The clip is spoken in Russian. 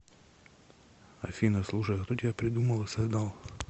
афина слушай а кто тебя придумал и создал